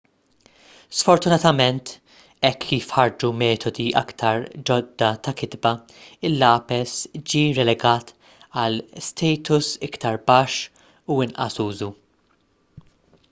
sfortunatament hekk kif ħarġu metodi iktar ġodda ta' kitba il-lapes ġiet relegat għal status iktar baxx u inqas użu